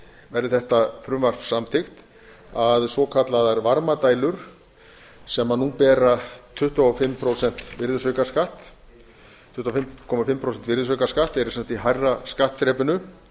verði þetta frumvarp samþykkt að svokallaðar varmadælur sem nú bera tuttugu og fimm prósenta virðisaukaskatt tuttugu og fimm komma fimm prósenta virðisaukaskatt eru sem sagt í hærra skattþrepinu